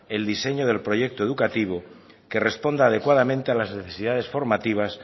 el diseño del proyecto educativo que responda adecuadamente a las necesidades formativas